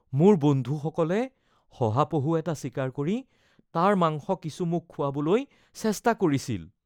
মোৰ বন্ধুসকলে শহাপহু এটা চিকাৰ কৰি তাৰ মাংস কিছু মোক খোৱাবলৈ চেষ্টা কৰিছিল।